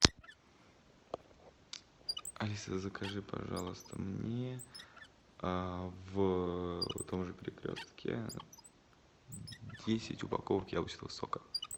алиса закажи пожалуйста мне в том же перекрестке десять упаковок яблочного сока